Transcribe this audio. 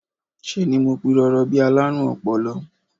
Ṣe ni mo pirọrọ bí i alárùn ọpọlọ